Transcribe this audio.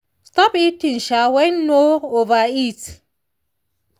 stop eating um when full no overeat.